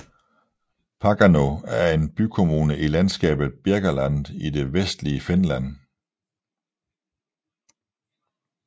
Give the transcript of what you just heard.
Parkano er en bykommune i landskabet Birkaland i det vestlige Finland